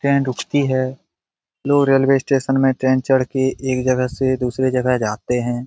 Train रूकती है लोग रेलवे स्टेशन में ट्रेन चढ़ के एक जगह से दूसरे जगह जाते हैं।